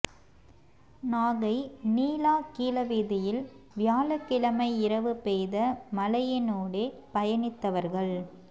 நாகை நீலா கீழ வீதியில் வியாழக்கிழமை இரவு பெய்த மழையினூடே பயணித்தவா்கள்